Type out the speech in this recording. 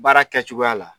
Baara kɛcogoya la